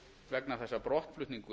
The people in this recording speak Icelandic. vegna þess að brottflutningur